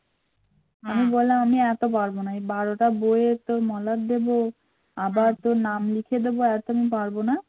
আবার তোর নাম লিখে দেবো এত আমি পারবো না